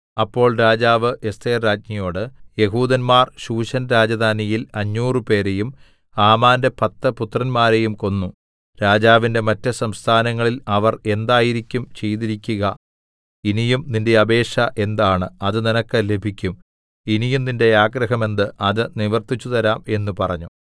അപ്പോൾ രാജാവ് എസ്ഥേർ രാജ്ഞിയോട് യെഹൂദന്മാർ ശൂശൻ രാജധാനിയിൽ അഞ്ഞൂറുപേരെയും 500 ഹാമാന്റെ പത്ത് പുത്രന്മാരെയും കൊന്നു രാജാവിന്റെ മറ്റു സംസ്ഥാനങ്ങളിൽ അവർ എന്തായിരിക്കും ചെയ്തിരിക്കുക ഇനിയും നിന്റെ അപേക്ഷ എന്താണ് അത് നിനക്ക് ലഭിക്കും ഇനിയും നിന്റെ ആഗ്രഹം എന്ത് അത് നിവർത്തിച്ചുതരാം എന്ന് പറഞ്ഞു